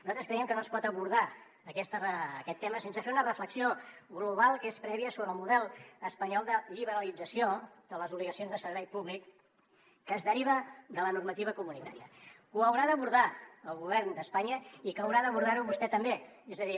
nosaltres creiem que no es pot abordar aquest tema sense fer una reflexió global que és prèvia sobre el model espanyol de liberalització de les obligacions de servei públic que es deriven de la normativa comunitària que ho haurà d’abordar el govern d’espanya i que haurà d’abordar ho vostè també és a dir